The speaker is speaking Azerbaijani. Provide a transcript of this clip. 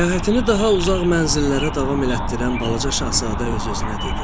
Səyahətini daha uzaq mənzillərə davam etdirən balaca Şahzadə öz-özünə dedi: